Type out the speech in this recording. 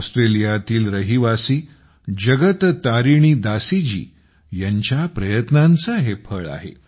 ऑस्ट्रेलियातील रहिवासी जगत तारिणी दासी यांच्या प्रयत्नांचे हे फळ आहे